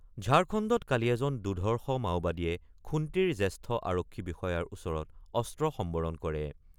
ঝাৰখণ্ডত কালি এজন দুৰ্ধৰ্ষ মাওবাদীয়ে খুন্তিৰ জ্যেষ্ঠ আৰক্ষী বিষয়াৰ ওচৰত অস্ত্ৰ সম্বৰণ কৰে।